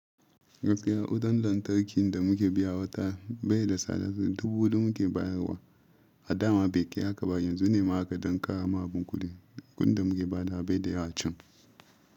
Gaskiya, kudin lantarki da muke biya watan bai da sada dubu hudu muke bayarwa a dama bai kai haka ba. Yanzu ne ma aka dsn ƙara ma abanku kuɗi. Kudin da muke ba da abai da yawancin.